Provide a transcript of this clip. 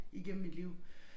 Igennem mit liv